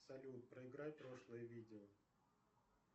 салют проиграй прошлое видео